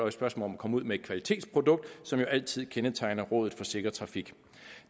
et spørgsmål om at komme ud med et kvalitetsprodukt som jo altid kendetegner rådet for sikker trafik